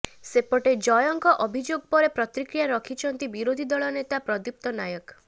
ସେପଟେ ଜୟଙ୍କ ଅଭିଯୋଗ ପରେ ପ୍ରତିକ୍ରିୟା ରଖିଛନ୍ତି ବିରୋଧୀ ଦଳ ନେତା ପ୍ରଦୀପ୍ତ ନାୟକ